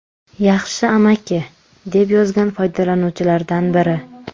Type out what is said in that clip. Yaxshi amaki”, deb yozgan foydalanuvchilardan biri.